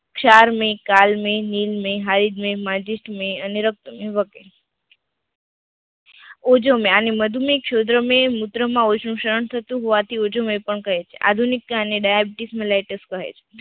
સારમાંય, કાળમાંય, હિલમય, મૅજિસ્ટ્મય, અનીરકતમય, વગેરા ઓઝોમય આને મધુમય છોડરામય મૂત્ર માં ઓછું સહન થતું હોવાથી ઓંઝુ મેધ કહે છે આધુનિક કાને daibitis malaitus પણ કહે છે.